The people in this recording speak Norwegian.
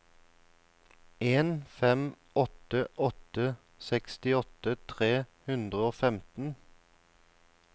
en fem åtte åtte sekstiåtte tre hundre og femten